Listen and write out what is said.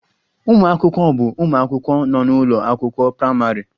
Ụmụ akwụkwọ bụ ụmụ akwụkwọ nọ n'ụlọ akwụkwọ praịmarị